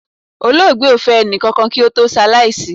Olóògbé o fẹ ẹnikakan ki ó to se alaisi